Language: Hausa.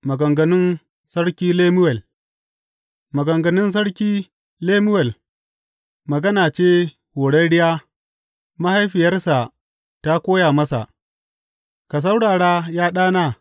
Maganganun Sarki Lemuwel Maganganun Sarki Lemuwel, magana ce horarriya mahaifiyarsa ta koya masa, Ka saurara, ya ɗana!